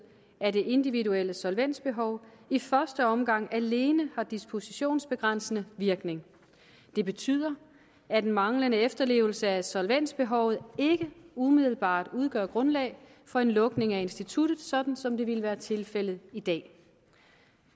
af det individuelle solvensbehov i første omgang alene har dispositionsbegrænsende virkning det betyder at manglende efterlevelse af solvensbehovet ikke umiddelbart udgør et grundlag for en lukning af instituttet sådan som det ville være tilfældet i dag